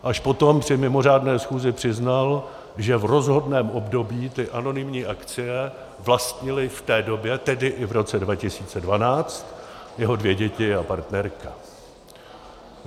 Až potom při mimořádné schůzi přiznal, že v rozhodném období ty anonymní akcie vlastnily v té době, tedy i v roce 2012, jeho dvě děti a partnerka.